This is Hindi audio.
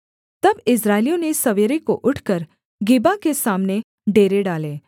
तब इस्राएलियों ने सवेरे को उठकर गिबा के सामने डेरे डाले